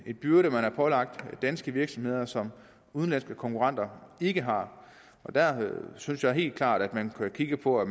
byrde som man har pålagt danske virksomheder og som udenlandske konkurrenter ikke har der synes jeg helt klart at man bør kigge på at